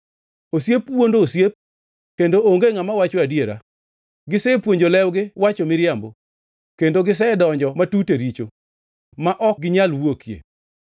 Osiep wuondo osiep, kendo onge ngʼama wacho adiera. Gisepuonjo lewgi wacho miriambo; kendo gisedonjo matut e richo ma ok ginyal wuokie.